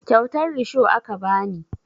Kyautar risho aka ba ni